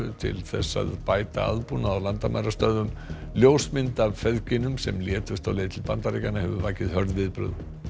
til þess að bæta aðbúnað á landamærastöðvum ljósmynd af sem létust á leið til Bandaríkjanna hefur vakið hörð viðbrögð